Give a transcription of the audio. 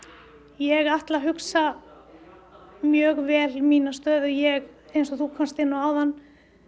ég ætla að hugsa mjög vel mína stöðu ég eins og þú komst inn á áðan